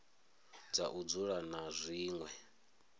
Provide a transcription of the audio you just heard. ha u dzula na zwinwe